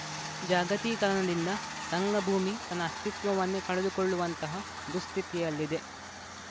ಜಾಗತೀಕರಣದಿಂದ ರಂಗಭೂಮಿ ತನ್ನ ಅಸ್ತಿತ್ವವನ್ನೇ ಕಳೆದುಕೊಳ್ಳುವಂತಹ ದುಸ್ಥಿತಿಯಲ್ಲಿದೆ